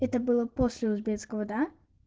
это было после узбекского да